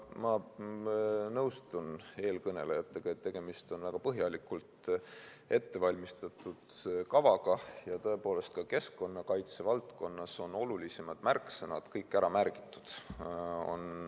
Ma nõustun eelkõnelejatega, et tegemist on väga põhjalikult ettevalmistatud kavaga ja tõepoolest ka keskkonnakaitse valdkonnas on olulisemad märksõnad kõik ära märgitud.